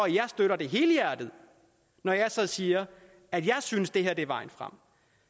jeg støtter det helhjertet og siger at jeg synes det her er vejen frem